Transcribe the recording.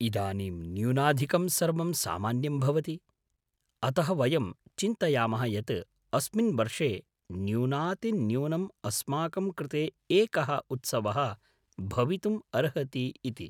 इदानीं न्यूनाधिकं सर्वं सामान्यं भवति, अतः वयं चिन्तयामः यत् अस्मिन् वर्षे न्यूनातिन्यूनम् अस्माकं कृते एकः उत्सवः भवितुम् अर्हति इति।